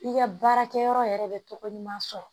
I ka baarakɛyɔrɔ yɛrɛ bɛ tɔgɔ ɲuman sɔrɔ